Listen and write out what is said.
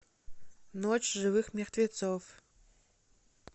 ночь живых мертвецов